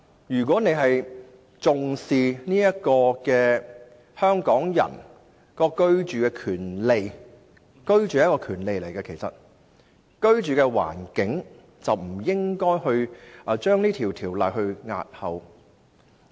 如果她重視香港人的居住權利——居住也是一種權利——便不應該將《條例草案》押後。